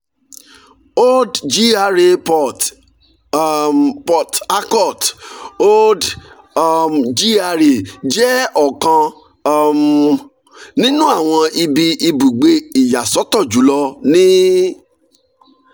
old gra port um harcourt: old um gra jẹ ọkan um ninu awọn ibi ibugbe iyasọtọ julọ ni